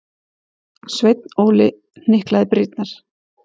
Sveinn Óli hnyklaði brýnnar.